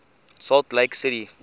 salt lake city